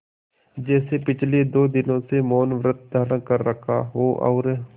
जैसे पिछले दो दिनों से मौनव्रत धारण कर रखा हो और